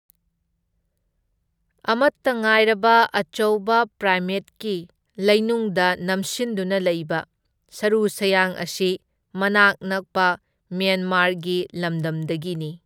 ꯑꯃꯠꯇ ꯉꯥꯏꯔꯕ ꯑꯆꯧꯕ ꯄ꯭ꯔꯥꯏꯃꯦꯠꯀꯤ ꯂꯩꯅꯨꯡꯗ ꯅꯝꯁꯤꯟꯗꯨꯅ ꯂꯩꯕ ꯁꯔꯨ ꯁꯌꯥꯡ ꯑꯁꯤ ꯃꯅꯥꯛ ꯅꯛꯄ ꯃ꯭ꯌꯥꯟꯃꯥꯔꯒꯤ ꯂꯝꯗꯝꯗꯒꯤꯅꯤ꯫